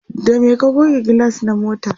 da me ka goge gilas na motar?